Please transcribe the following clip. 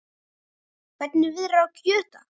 Hvernig viðrar á kjördag?